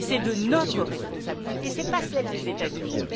C'est de notre responsabilité, et non celle des États Unis.